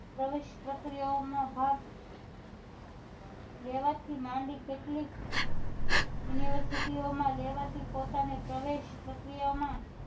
પ્રવેશ પ્રક્રિયા ઓ માં ભાગ લેવા થી માંડી કેટલીક university ઓ માં લેવાતી પોતાની પ્રવેશ પ્રક્રિયા માં